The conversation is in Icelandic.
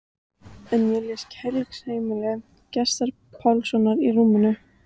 En ég les Kærleiksheimili Gests Pálssonar í rúminu.